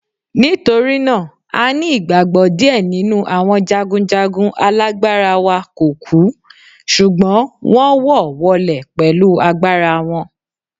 Nítorí náà, a ní ìgbàgbọ́ díẹ̀ nínú àwọn jagunjagun alágbára wa kò kú, ṣùgbọ́n wón wọ wọlẹ̀ pẹ̀lú agbára wọn.